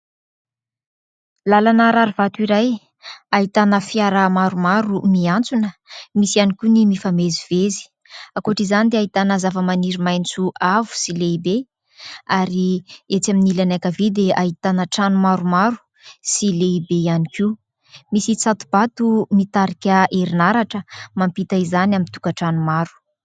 Lalana rary vato iray ahitana fiara maromaro miantsona misy ihany koa ny mifamezivezy akoatra izany dia ahitana zavamaniry maitso avo sy lehibe ary etsy amin'ny ilany ankavia dia ahitana trano maromaro sy lehibe ihany koa misy tsato-bato mitarika herinaratra mampita izany amin'ny tokatrano maro.